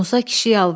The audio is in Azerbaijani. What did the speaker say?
Musa kişi yalvardı.